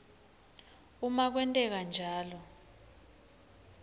uma kwenteka njalo